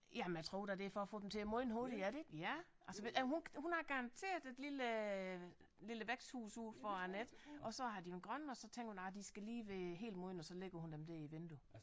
Jamen jeg tror da det er for at få dem til at modne hurtigere er det ikke ja og så ved ja hun hun har garanteret et lille lille væksthus ude foran ik og så har de været grønne og så tænker hun nej de skal lige være helt modne og så ligger hun dem der i vinduet